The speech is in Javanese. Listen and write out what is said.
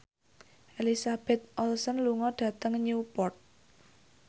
Elizabeth Olsen lunga dhateng Newport